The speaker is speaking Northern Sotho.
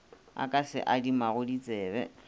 a ka se adimago ditsebe